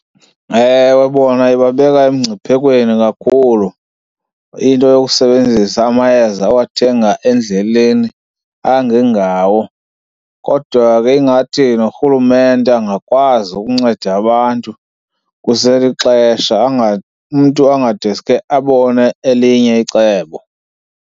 Ewe, bona ibabeka emngciphekweni kakhulu into yokusebenzisa amayeza awathenga endleleni angengawo. Kodwa ke ingathi norhulumente angakwazi ukunceda abantu kuselixesha, umntu angadeske abone elinye icebo.